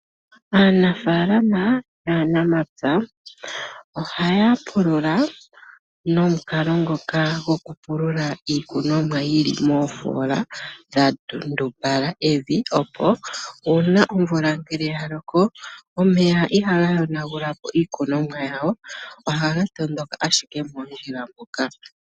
Aana falama ,naana mapya ohaya pulula nokalo ngoka gokupulula iikunomwa yili moofola dhatundumbala evi opo, uuna ngele omvula yaloka , omeya ihaga yona gulapo iikunomwa yawo. ohaga tondoka ashike moonjila moka.